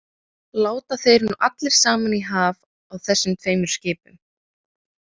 Láta þeir nú allir saman í haf á þessum tveimur skipum.